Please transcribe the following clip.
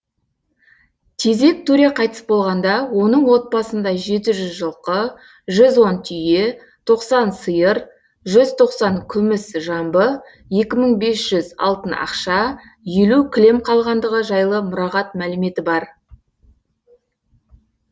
тезек төре қайтыс болғанда оның отбасында жеті жүз жылқы жүз он түйе тоқсан сиыр жүз тоқсан күміс жамбы екі мың бес жүз алтын ақша елу кілем қалғандығы жайлы мұрағат мәліметі бар